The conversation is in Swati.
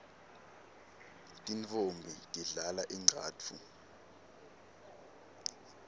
tintfombi tidlala ingcatfu